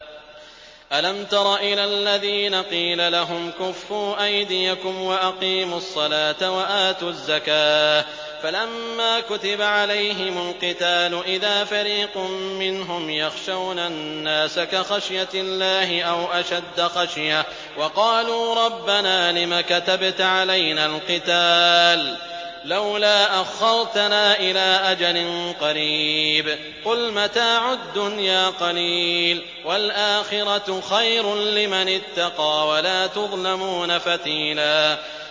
أَلَمْ تَرَ إِلَى الَّذِينَ قِيلَ لَهُمْ كُفُّوا أَيْدِيَكُمْ وَأَقِيمُوا الصَّلَاةَ وَآتُوا الزَّكَاةَ فَلَمَّا كُتِبَ عَلَيْهِمُ الْقِتَالُ إِذَا فَرِيقٌ مِّنْهُمْ يَخْشَوْنَ النَّاسَ كَخَشْيَةِ اللَّهِ أَوْ أَشَدَّ خَشْيَةً ۚ وَقَالُوا رَبَّنَا لِمَ كَتَبْتَ عَلَيْنَا الْقِتَالَ لَوْلَا أَخَّرْتَنَا إِلَىٰ أَجَلٍ قَرِيبٍ ۗ قُلْ مَتَاعُ الدُّنْيَا قَلِيلٌ وَالْآخِرَةُ خَيْرٌ لِّمَنِ اتَّقَىٰ وَلَا تُظْلَمُونَ فَتِيلًا